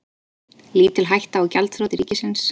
Lítil hætta á gjaldþroti ríkisins